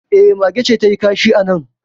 E, mage ce ta yi kashi a nan